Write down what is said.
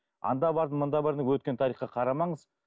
анда бардым мұнда бардым өткен тарихқа қарамаңыз